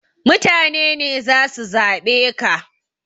Mutane ne zasu zaɓe ka